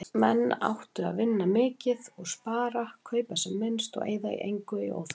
Menn áttu að vinna mikið og spara, kaupa sem minnst og eyða engu í óþarfa.